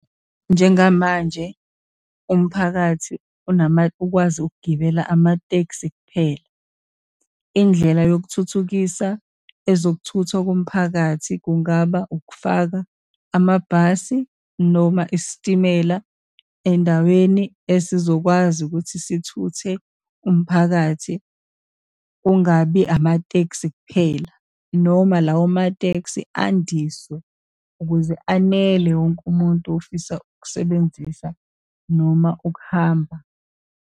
Njengamanje umphakathi ukwazi ukugibela amatekisi kuphela. Indlela yokuthuthukisa ezokuthuthwa komphakathi kungaba, ukufaka amabhasi, noma isitimela endaweni esizokwazi ukuthi sithuthe umphakathi, kungabi amatekisi kuphela, noma lawo matekisi andiswe ukuze anele wonke umuntu ofisa ukusebenzisa noma ukuhamba.